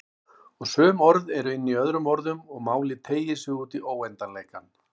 Og sum orð eru inní öðrum orðum og málið teygir sig útí óendanleikann.